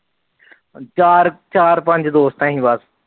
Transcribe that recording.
ਚਾਰ ਚਾਰ ਪੰਜ ਦੇਸਤ ਆ ਆਸੀ ਬਸ